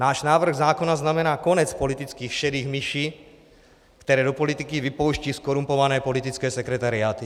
Náš návrh zákona znamená konec politických šedých myší, které do politiky vypouštějí zkorumpované politické sekretariáty.